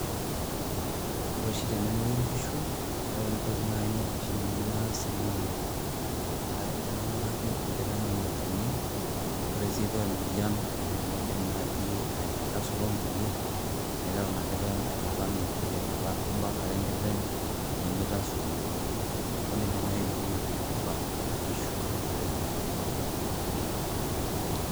Ore oshi tenemuoyu inkishu, ore entoki oshi nanu naas na kaing'uraki inkiteng' ai olchani, ore si paa emoyian naidim naji aitasuro inkulie naitayu ina kiteng' aitalam inkulie, meeta kabak ake enkiteng' peyie meitasurr inkulie niaku nejia naji kingo yiok tenikibak inkishu tenemuoyu.